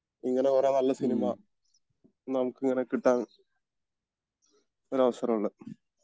ഇങ്ങനെ ഓരോ നല്ല സിനിമ നമുക്ക് ഇങ്ങനെ കിട്ടാൻ ഒരു അവസരം ഉള്ളെ